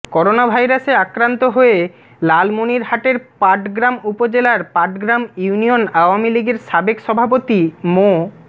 করোনাভাইরাসে আক্রান্ত হয়ে লালমনিরহাটের পাটগ্রাম উপজেলার পাটগ্রাম ইউনিয়ন আওয়ামী লীগের সাবেক সভাপতি মো